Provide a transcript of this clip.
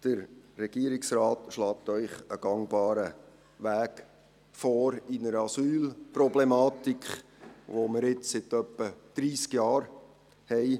Der Regierungsrat schlägt Ihnen einen gangbaren Weg in der Asylproblematik vor, die wir nun seit etwa dreissig Jahren haben.